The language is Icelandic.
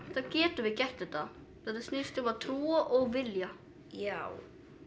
þá getum við gert þetta þetta snýst um að trúa og vilja já